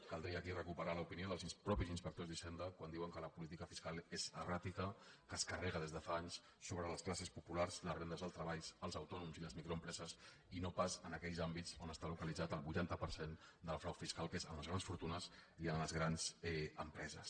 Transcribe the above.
caldria aquí recuperar l’opinió dels mateixos inspectors d’hisenda quan diuen que la política fiscal és erràtica que es carrega des de fa anys sobre les classes populars les rendes del treball els autònoms i les microempreses i no pas en aquells àmbits on està localitzat el vuitanta per cent del frau fiscal que és en les grans fortunes i en les grans empreses